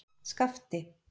Skapti